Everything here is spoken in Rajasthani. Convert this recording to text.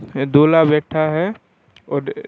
एक दूल्हा बैठा है और--